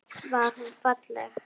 Var hún falleg?